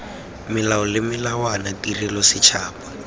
melao le melawana tirelo setšhaba